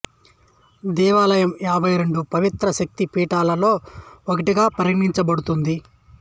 దేవాలయం యాభై రెండు పవిత్ర శక్తి పీఠాలలో ఒకటిగా పరిగణించబడుతుంది